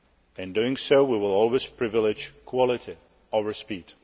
In doing so, we will always privilege quality over speed.